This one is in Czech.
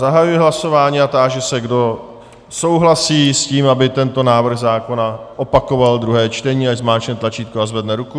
Zahajuji hlasování a táži se, kdo souhlasí s tím, aby tento návrh zákona opakoval druhé čtení, ať zmáčkne tlačítko a zvedne ruku.